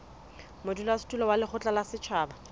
modulasetulo wa lekgotla la setjhaba